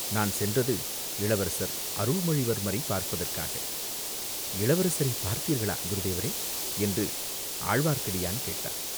நான் சென்றது இளவரசர் அருள்மொழிவர்மரைப் பார்ப்பதற்காக, இளவரசரைப் பார்த்தீர்களா, குருதேவரே, என்று ஆழ்வார்க்கடியான் கேட்டான்.